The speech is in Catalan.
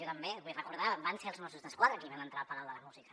jo també ho vull recordar van ser els mossos d’esquadra que van entrar al palau de la música